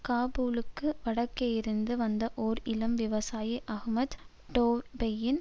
காபூலுக்கு வடக்கேயிருந்து வந்த ஓர் இளம் விவசாயி அஹ்மத் டோயெப்பின்